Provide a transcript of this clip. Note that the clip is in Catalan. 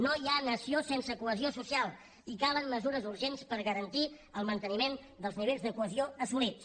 no hi ha nació sense cohesió social i calen mesures urgents per garantir el manteniment dels nivells de cohesió assolits